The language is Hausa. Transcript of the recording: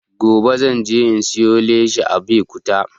Gobe zan je in siyo leshi a abekuta